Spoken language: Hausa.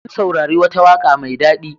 Mun saurari wata waƙa mai daɗi.